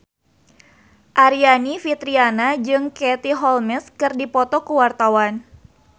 Aryani Fitriana jeung Katie Holmes keur dipoto ku wartawan